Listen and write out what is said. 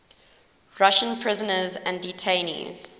russian prisoners and detainees